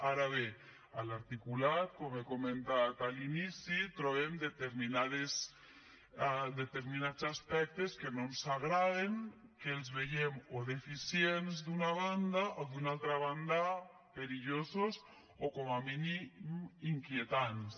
ara bé a l’articulat com he comentat a l’inici trobem determinats aspectes que no ens agraden que els veiem o deficients d’una banda o d’una altra banda perillosos o com a mínim inquietants